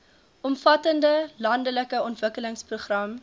omvattende landelike ontwikkelingsprogram